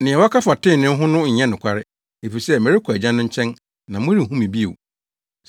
Nea wɔka fa trenee ho no nyɛ nokware, efisɛ merekɔ Agya no nkyɛn na morenhu me bio.